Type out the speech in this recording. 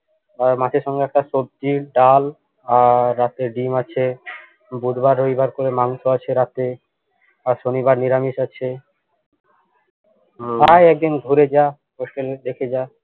আর মাছের সঙ্গে একটা সবজি ডাল আর রাতে ডিম আছে বুধবার রবিবার করে মাংস আছে রাতে আর শনিবার নিরামিষ আছে আয় একদিন ঘুরে যা hostel দেখে যা